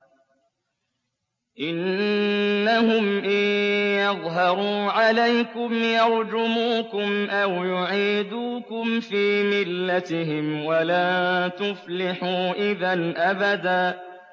إِنَّهُمْ إِن يَظْهَرُوا عَلَيْكُمْ يَرْجُمُوكُمْ أَوْ يُعِيدُوكُمْ فِي مِلَّتِهِمْ وَلَن تُفْلِحُوا إِذًا أَبَدًا